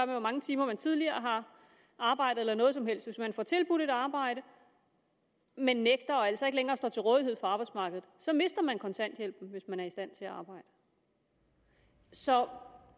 hvor mange timer man tidligere har arbejdet eller noget som helst hvis man får tilbudt et arbejde men nægter og altså ikke længere står til rådighed for arbejdsmarkedet så mister man kontanthjælpen hvis man er i stand til at arbejde så hvorfor